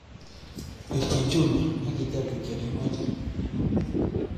Pirchi chumia akiteep kityo neimache